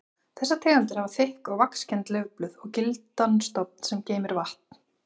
Þessar tegundir hafa þykk og vaxkennd laufblöð og gildan stofn sem geymir vatn.